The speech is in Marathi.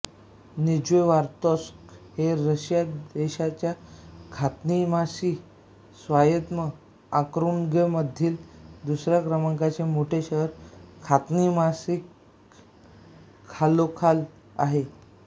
निज्नेवार्तोव्स्क हे रशिया देशाच्या खान्तीमान्सी स्वायत्त ऑक्रूगमधील दुसऱ्या क्रमांकाचे मोठे शहर खान्तीमान्सीस्क खालोखाल आहे